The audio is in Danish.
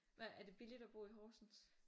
Hvad er det billiugt at bo i Horsens?